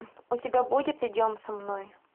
у тебя будет идем со мной